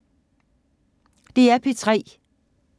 DR P3